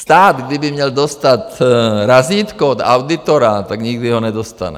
Stát, kdyby měl dostat razítko od auditora, tak nikdy ho nedostane.